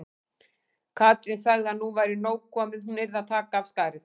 Katrín sagði að nú væri nóg komið, hún yrði að taka af skarið.